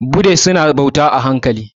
Budist su na bauta a haikali